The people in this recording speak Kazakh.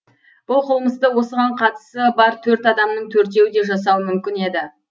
бұл қылмысты осыған қатысы бар төрт адамның төртеуі де жасауы мүмкін еді